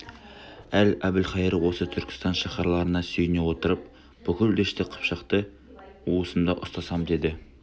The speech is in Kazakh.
ал әбілқайыр осы түркістан шаһарларына сүйене отырып бүкіл дәшті қыпшақты уысымда ұстасам деді